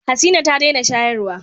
Hasina ta dena shayarwa